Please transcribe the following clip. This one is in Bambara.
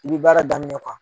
I bɛ baara daminɛ o kan.